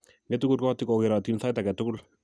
Ng'etu kurgootik kogerootin sait age tugul.